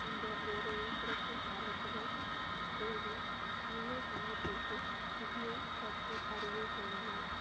இந்த வேலையை சிறப்பு ஆர்வத்துடன் செய்து உள்ளூர் சங்கத்திற்கு பற்றி அறிய செய்தனர்